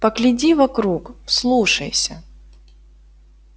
погляди вокруг вслушайся